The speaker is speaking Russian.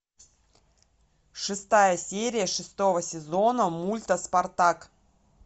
шестая серия шестого сезона мульта спартак